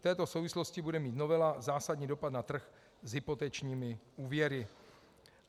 V této souvislosti bude mít novela zásadní dopad na trh s hypotečními úvěry.